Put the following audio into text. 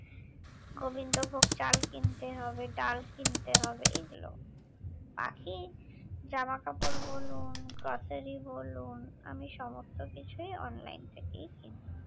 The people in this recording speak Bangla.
গোবিন্দভোগ চাল কিনতে হবে ডাল কিনতে হবে এগুলো বাকি জামাকাপড় বলুন grocery বলুন আমি সমস্ত কিছুই online থেকেই কিনি